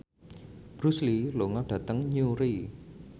Bruce Lee lunga dhateng Newry